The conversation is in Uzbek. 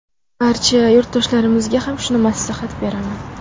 Barcha yurtdoshlarimizga ham shuni maslahat beraman.